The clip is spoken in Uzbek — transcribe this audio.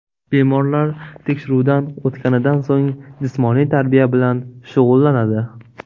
Bemorlar tekshiruvdan o‘tganidan so‘ng, jismoniy tarbiya bilan shug‘ullanadi.